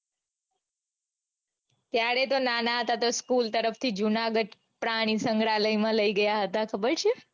ત્યારે તો નાના હતા તો school તરફથી જૂનાગઢ પ્રાણીસંગ્રહાલય માં લઇ ગયા હતા ખબર છે.